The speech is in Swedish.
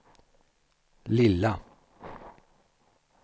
lilla